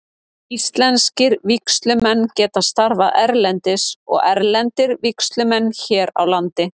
Íslenskir vígslumenn geta starfað erlendis og erlendir vígslumenn hér á landi.